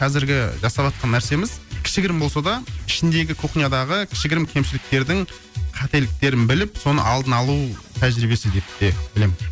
қазіргі жасаватқан нәрсеміз кішігірім болса да ішіндегі кухнядағы кішігірім кемшіліктердің қателіктерін біліп соны алдын алу тәжірибесі деп білемін